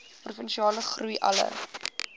provinsiale groei alle